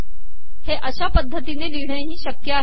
हे अशा पदतीने िलिहणे ही शकय आहे